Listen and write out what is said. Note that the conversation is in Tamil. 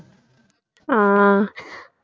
ஆஹ்